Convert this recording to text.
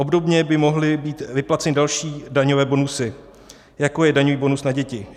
Obdobně by mohly být vyplaceny další daňové bonusy, jako je daňový bonus na děti.